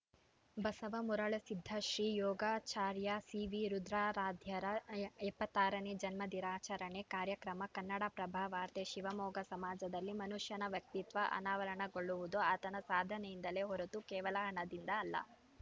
Basava Marulasiddha Shri Yogacharya C V ರುದ್ರಾರಾಧ್ಯರ ಎಪ್ಪತ್ತ್ ಆರನೇ ಜನ್ಮ ದಿನಾಚರಣೆ ಕಾರ್ಯಕ್ರಮ ಕನ್ನಡಪ್ರಭ ವಾರ್ತೆ ಶಿವಮೊಗ್ಗ ಸಮಾಜದಲ್ಲಿ ಮನುಷ್ಯನ ವ್ಯಕ್ತಿತ್ವ ಅನಾವರಣಗೊಳ್ಳುವುದು ಆತನ ಸಾಧನೆಯಿಂದಲೇ ಹೊರತು ಕೇವಲ ಹಣದಿಂದ ಅಲ್ಲ